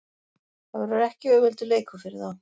Það verður ekki auðveldur leikur fyrir þá.